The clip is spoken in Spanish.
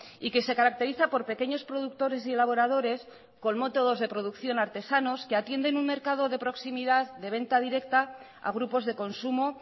y que se caracteriza por pequeños productores y elaboradores con métodos de producción artesanos que atienden un mercado de proximidad de venta directa a grupos de consumo